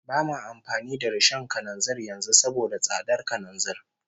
Ba ma amfani da rishon kananzir yanzu saboda tsadar kananzir